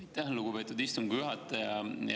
Aitäh, lugupeetud istungi juhataja!